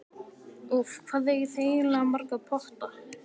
Úff, hvað eigið þið eiginlega marga potta?